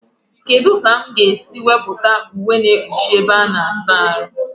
Kedụ ka mụ ga esi wepụta uwe na ekpuchi ebe a-na asa arụ?